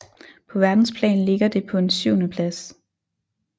På verdensplan ligger det på en syvendeplads